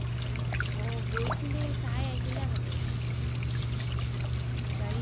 অ গৈ কিনে চাই আহিলা মানে গাড়ী